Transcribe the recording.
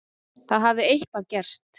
Það hafði eitthvað gerst.